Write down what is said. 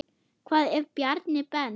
Hvað ef Bjarni Ben.